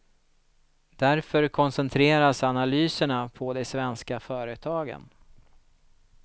Därför koncentreras analyserna på de svenska företagen.